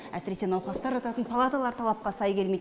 әсіресе науқастар жататын палаталар талапқа сай келмейді